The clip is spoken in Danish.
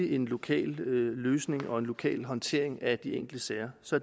en lokal løsning og en lokal håndtering af de enkelte sager så